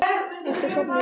Ertu sofnuð, Erla?